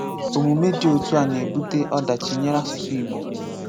Ómúmè dị̀ ótù à nà-ébutè ọ̀dáchì nyèrè àsụ̀sụ̀ Ìgbò.